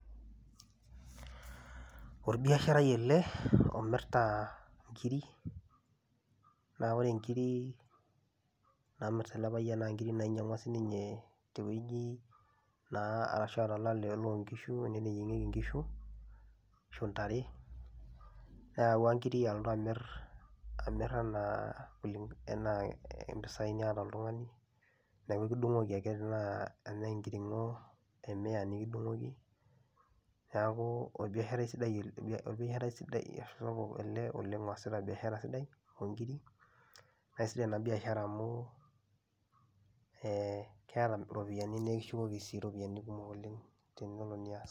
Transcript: Orbiasharai ele omirta inkirik naa ore inkirik naamirita ele payian naa nkirik nainyang'ua sininye te wueji naa arashu a to lale loo nkishu ene neyieng'eki inkishu ashu ntare, neyauwua nkirik aaltu amir amir anaa kuling' anaa mpisai niyata oltung'ani neeku kidung'oki ake tenaa ene enkiring'o e mia nekidung'oki. Neeku orbiasharai sidai el orbi orbiasharai sidai sapuk ele oleng' oasita biashara sidai oo nkirik, nee sidai ena biashara amu ee keeta ropiani nekishukoki sii ropiani kumok oleng' tenelo nias.